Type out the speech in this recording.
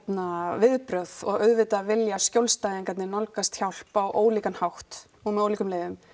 viðbrögð og auðvitað vilja skjólstæðingarnir nálgast hjálp á ólíkan hátt og með ólíkum leiðum